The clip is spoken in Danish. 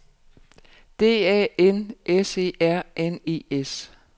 D A N S E R N E S